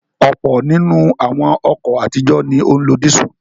Ọ̀pọ̀ nínú àwọn ọkọ̀ àtijọ́ ni ó ń lo dísù.